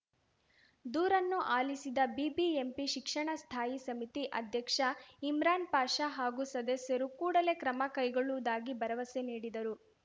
ದೂರನ್ನು ಆಲಿಸಿದ ಬಿಬಿಎಂಪಿ ಶಿಕ್ಷಣ ಸ್ಥಾಯಿ ಸಮಿತಿ ಅಧ್ಯಕ ಇಮ್ರಾನ್‌ಪಾಷಾ ಹಾಗೂ ಸದಸ್ಯರು ಕೂಡಲೇ ಕ್ರಮ ಕೈಗೊಳ್ಳುವುದಾಗಿ ಭರವಸೆ ನೀಡಿದರು